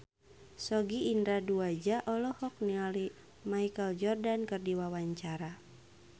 Sogi Indra Duaja olohok ningali Michael Jordan keur diwawancara